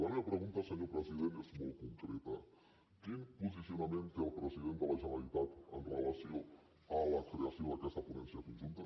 la meva pregunta senyor president és molt concreta quin posicionament té el president de la generalitat amb relació a la creació d’aquesta ponència conjunta